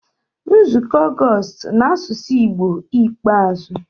Nzukọ Ọgọst n'asụsụ Igbo ikpeazụ